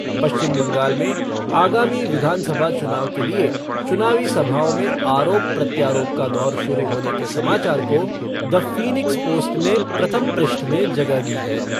पश्चिम बंगाल में आगामी विधानसभा चुनाव के लिए चुनावी सभाओं में आरोप प्रत्यारोप का दौर शुरू होने के समाचार को द फ़ीनिक्स पोस्ट ने प्रथम पृष्ठ में जगह दी है।